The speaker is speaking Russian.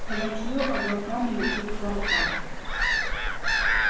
хоботьё облаками летит к воротам